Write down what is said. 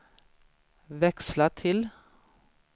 växla till